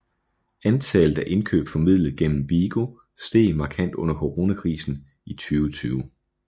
Antallet af indkøb formidlet gennem Vigo steg markant under coronakrisen i 2020